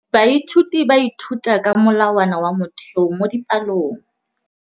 Baithuti ba ithuta ka molawana wa motheo mo dipalong.